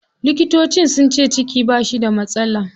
Likitocin sunce ciki bashi da matsala.